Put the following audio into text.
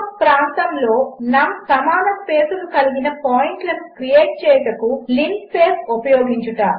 ఒకప్రాంతములోnumసమానస్పేసులుకలిగినపాయింట్లనుక్రియేట్చేయుటకుlinspaceఉపయోగించుట